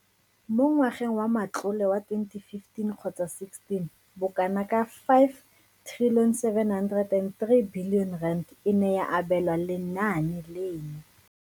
Mo ngwageng wa matlole wa 2015 kgotsa16, bokanaka R5 703 bilione e ne ya abelwa lenaane leno.